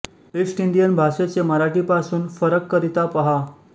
east Indian भाषेचे मराठी पासून फरक करिता पहा